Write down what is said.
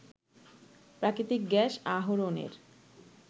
প্রাকৃতিক গ্যাস আহরণের